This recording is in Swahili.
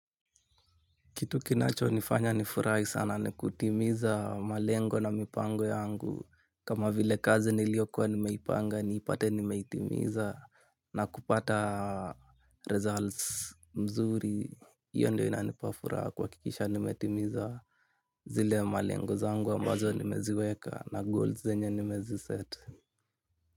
Kitu kinacho nifanya nifurahi sana ni kutimiza malengo na mipango yangu. Kama vile kazi niliyokuwa nimeipanga, nipate nimeitimiza na kupata results mzuri. Iyo ndio inanipafuraha kuhakikisha nimetimiza zile malengo zangu ambazo nimeziweka na goals zenye nimezi set.